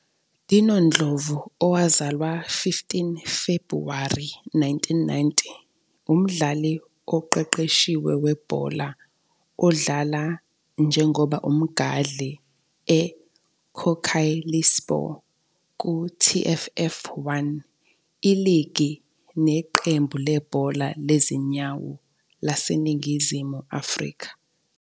Dino Ndlovu, owazalwa 15 Febhuwari 1990 umdlali oqeqeshiwe webhola odlala njengoba Umgadli ngoba Kocaelispor ku TFF 1. Iligi neqembu lebhola lezinyawo laseNingizimu Afrika.